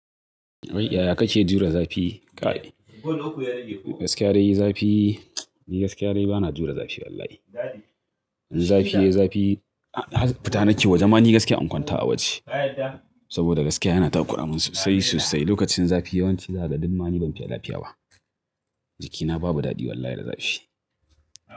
Wai yaya kake jure zafi? Gaskiya dai zafi, ni gaskiya dai bana jure zafi wallahi. In zafi ya yi zafi, fita nake waje. Mani gaskiya in kwanta a waje saboda gaskiya yana ta ƙuramin sosai sosai. Lokacin zafi yawanci zakaga dumma ni ban fiya lafiya ba. Jikina babu daɗi wallahi da zafi.